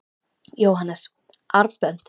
Jóhannes: Armbönd?